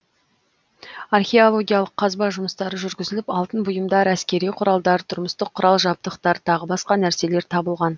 археологиялық қазба жұмыстары жүргізіліп алтын бұйымдар әскери құралдар тұрмыстық құрал жабдықтар тағы басқа нәрселер табылған